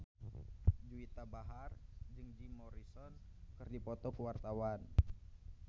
Juwita Bahar jeung Jim Morrison keur dipoto ku wartawan